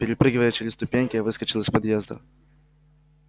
перепрыгивая через ступеньки я выскочил из подъезда